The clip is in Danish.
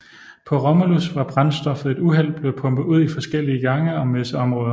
PåRomulus var brændstof ved et uheld blevet pumpet ud i forskellige gange og messeområder